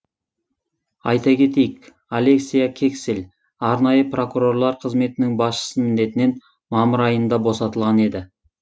айта кетейік олеся кексель арнайы прокурорлар қызметінің басшысы міндетінен мамыр айында босатылған еді